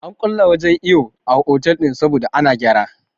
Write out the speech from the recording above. An kulle wajen iyo a otal ɗinnan saboda ana gyara